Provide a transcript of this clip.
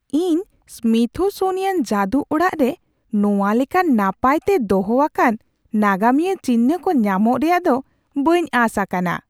ᱤᱧ ᱥᱢᱤᱛᱷᱥᱳᱱᱤᱭᱟᱱ ᱡᱟᱹᱫᱩ ᱚᱲᱟᱜ ᱨᱮ ᱱᱚᱶᱟ ᱞᱮᱠᱟᱱ ᱱᱟᱯᱟᱭ ᱛᱮ ᱫᱚᱦᱚ ᱟᱠᱟᱱ ᱱᱟᱜᱟᱢᱤᱭᱟᱹ ᱪᱤᱱᱦᱟᱹ ᱠᱚ ᱧᱟᱢᱚᱜ ᱨᱮᱭᱟᱜ ᱫᱚ ᱵᱟᱹᱧ ᱟᱥ ᱟᱠᱟᱱᱟ ᱾